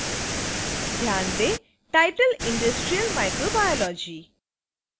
ध्यान दें: titleindustrial microbiology